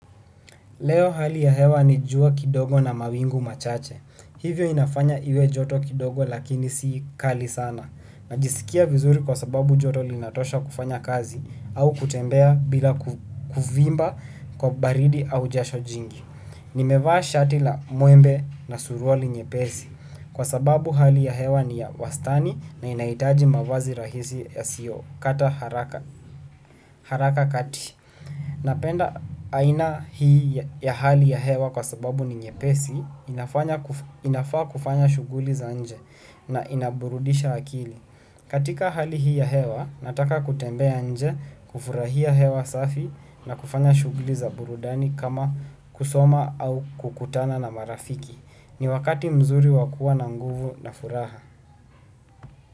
Leo hali ya hewa ni jua kidogo na mawingu machache. Hivyo inafanya iwe joto kidogo lakini si kali sana. Najisikia vizuri kwa sababu joto linatosha kufanya kazi au kutembea bila kuvimba kwa baridi au jasho jingi. Nimevaa shati la muembe na suruali nyepesi. Kwa sababu hali ya hewa ni ya wastani na inahitaji mavazi rahisi ya siyo kata haraka kati. Napenda aina hii ya hali ya hewa kwa sababu ni nyepesi ninafaa kufanya shuguli za nje na inaburudisha akili. Katika hali hii ya hewa nataka kutembea nje kufurahia hewa safi na kufanya shuguli za burudani kama kusoma au kukutana na marafiki. Ni wakati mzuri wa kuwa na nguvu na furaha.